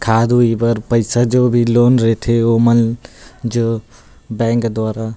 खाद ऊई बर जो भी पईसा जो भी लोन रईथे ओमन जो बैंक द्वारा--